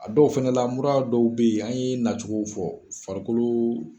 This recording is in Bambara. A dɔw fɛnɛ la mura dɔw bɛ yen, an ye na cogo fɔ farikoloo.